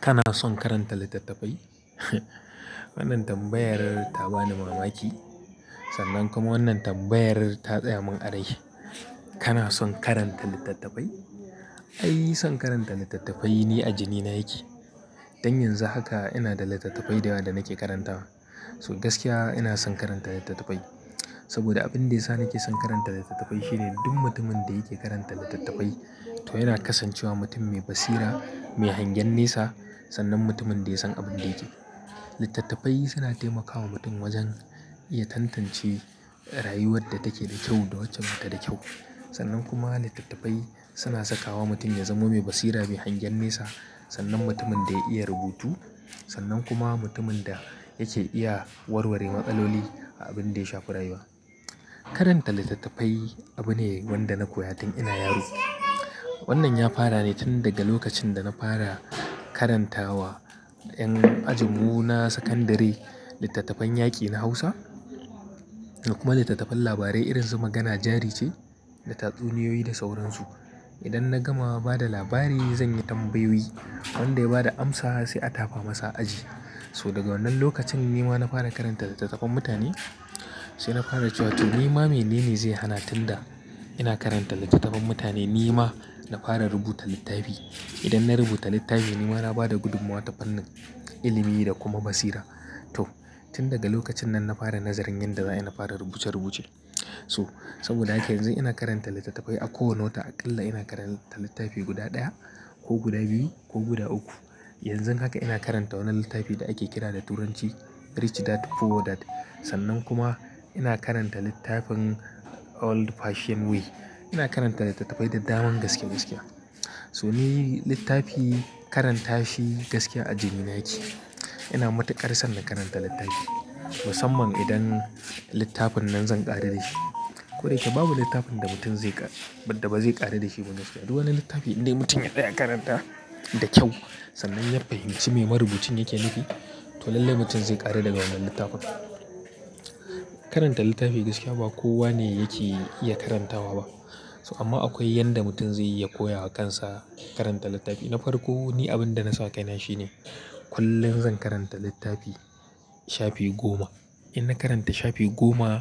Kana son karanta littattafai? Wannan tambayar ta bani mamaki, sannan kuma wannan tambayar ta tsaya mun a rai. Kana son karanta littattafai? Ai, son karanta littattafai ni a jini na yake. Don yanzu haka ina da littattafai da yawa da nake karantawa. So gaskiya ina son karanta littattafai saboda abin da ya sa nake son karanta littattafai shine duk mutumin da yake karanta littattafai to yana kasancewa mutum mai basira, mai hangen nesa sannan mutumin da ya san abin da yake. Littattafai suna taimakawa mutum wajen iya tantance rayuwar da take da kyau da wacce ba ta da kyau. Sannan kuma littattafai suna sakawa mutum ya zama mai basira, mai hangen nesa sannan mutumin da ya iya rubutu sannan kuma mutumin da yake iya warware matsaloli a abin da ya shafi rayuwa. Karanta littattafai abu ne wanda na koya tun ina yaro. Wannan ya fara ne tun daga lokacin da na fara karantawa 'yan ajin mu na sakandare littattafan yaƙi na Hausa da kuma littattafan labarai irin su Magana jari ce da tatsuniyoyi da sauransu. Idan na gama ba da labari zanyi tambayoyi wanda ya ba da amsa sai a tafa masa aji. So daga wannan lokacin ni ma na fara karanta littattafan mutane sai na fara cewa to ni ma mene ne zai hana tun da ina karanta littattafan mutane ni ma na fara rubuta littafi. Idan na rubuta littafi ni ma na bada gudummuwa ta fannin ilimi da kuma basira. To tun daga lokacin nan na fara nazarin yadda za ai na fara rubuce rubuce. So saboda haka yanzu ina karanta littattafai a kowane wata aƙalla ina karanta littafi guda ɗaya ko guda biyu ko guda uku. Yanzun haka ina karanta wani littafi da ake kira da turanci "Rich Dad Poor Dad" sannan kuma ina karanta littafin "Old Fashioned Way". Ina karanta littattafai da daman gaske gaskiya So ni littafi karanta shi gaskiya a jini na yake. Ina matuƙar son na karanta littafi musamman idan littafin nan zan ƙaru da shi. Koda yake babu littafin da mutum zai ƙara-- da ba zai ƙaru da shi ba gaskiya. Duk littafi idan mutum ya tsaya karanta da kyau sannan ya fahimci me marubucin yake nufi to lallai mutum zai ƙaru da wannan littafin. Karanta littafi gaskiya ba kowa ne yake iya karantawa ba. So amma akwai yadda mutum zai iya koya wa kansa karanta littafi. Na farko ni abin da na sawa kaina shine kullum zan karanta littafi shafi goma. In na karanta shafi goma,